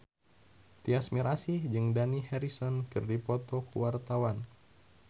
Tyas Mirasih jeung Dani Harrison keur dipoto ku wartawan